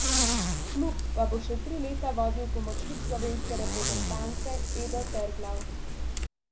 Klub pa bo še tri leta vodil pomočnik slovenske reprezentance Edo Terglav.